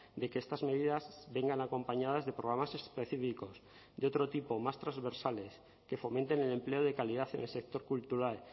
de que estas medidas vengan acompañadas de programas específicos de otro tipo más transversales que fomenten el empleo de calidad en el sector cultural